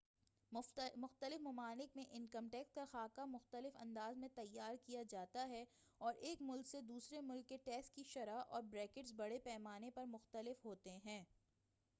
مختلف ممالک میں انکم ٹیکس کا خاکہ مختلف انداز میں تیار کیا جاتا ہے اور ایک ملک سے دوسرے ملک کے ٹیکس کی شرح اور بریکٹس بڑے پیمانے پر مختلف ہوتے ہیں